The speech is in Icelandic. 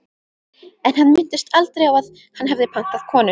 En hann minntist aldrei á að hann hefði pantað konu.